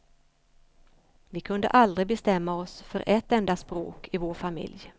Vi kunde aldrig bestämma oss för ett enda språk i vår familj.